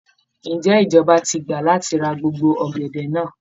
Ǹjẹ́ ìjọba ti gbà láti ra gbogbo ọ̀gẹ̀dẹ̀ náà?